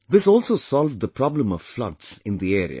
This also solved the problem of floods in the area